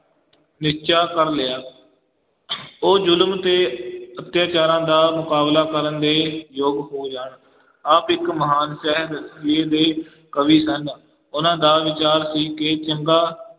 ਨਿਸ਼ਚਾ ਕਰ ਲਿਆ ਉਹ ਜ਼ੁਲਮ ਤੇ ਅਤਿਆਚਾਰਾਂ ਦਾ ਮੁਕਾਬਲਾ ਕਰਨ ਦੇ ਯੋਗ ਹੋ ਜਾਣ, ਆਪ ਇੱਕ ਮਹਾਨ ਦੇ ਕਵੀ ਸਨ, ਉਹਨਾਂ ਦਾ ਵਿਚਾਰ ਸੀ ਕਿ ਚੰਗਾ